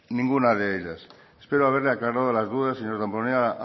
ninguna de ellas espero haberle aclarado las dudas señor damborenea